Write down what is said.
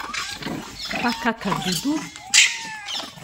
Pa Kakadudu?